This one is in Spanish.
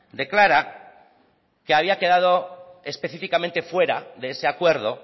declara que había quedado específicamente fuera de ese acuerdo